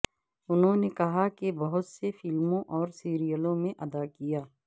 انہوں نے کہا کہ بہت سے فلموں اور سیریلوں میں ادا کیا